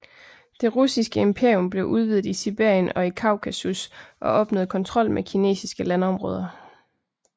Det russiske imperium blev udvidet i Sibirien og i Kaukasus og opnåede kontrol med kinesiske landområder